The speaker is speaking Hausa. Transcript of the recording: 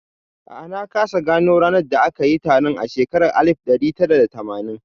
A'a, na kasa gano ranar da aka yi taron a shekara ta alif ɗari tara da tamanin